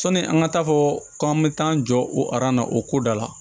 Sɔni an ka taa fɔ k'an bɛ taa an jɔ o aran na o ko da la